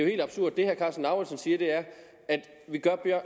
helt absurd det herre karsten lauritzen siger er